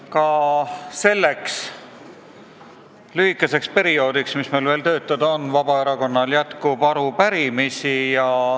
Ka selleks lühikeseks perioodiks, mis meil veel töötada on jäänud, jätkub Vabaerakonnal arupärimisi.